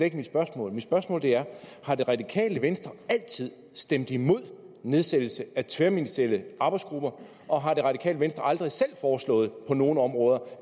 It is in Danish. ikke mit spørgsmål mit spørgsmål er har det radikale venstre altid stemt imod nedsættelse af tværministerielle arbejdsgrupper og har det radikale venstre aldrig selv foreslået at det på nogle områder